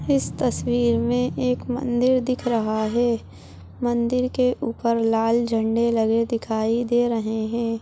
इस तस्वीर में एक मंदिर दिख रहा है मंदिर के ऊपर लाल झंडे लगे दिखाई दे रहे है ।